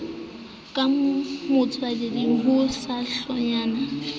ka motswetseng ho sa hlonngwe